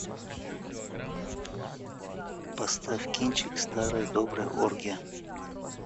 поставь кинчик старая добрая оргия